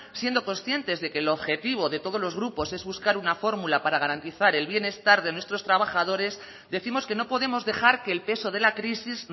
siendo conscientes de que el objetivo de todos los grupos es buscar una fórmula para garantizar el bienestar de nuestros trabajadores décimos que no podemos dejar que el peso de la crisis